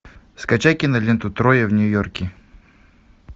скачай киноленту трое в нью йорке